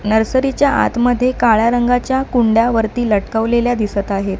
Nursery च्या आतमध्ये काळ्या रंगाच्या कुंड्या वरती लटकवलेल्या दिसत आहेत.